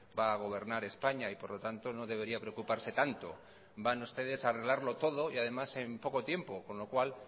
va a gobernar españa y por lo tanto no debería preocuparse tanto van ustedes a arreglarlo todo y además en poco tiempo con lo cual